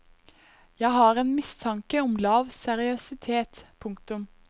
Jeg har en mistanke om lav seriøsitet. punktum